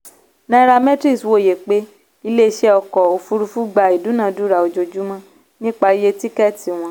nairametrics wòye pé ilé-iṣẹ́ ọkọ̀ òfuurufú gba ìdúnàádúrà ojoojúmọ́ nípa iye tíkẹ́tì wọn.